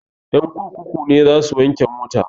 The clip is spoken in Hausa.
Ƴan kurkuku ne za su wanke mai mota